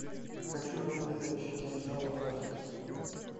хочу дом летающих кинжалов аш ди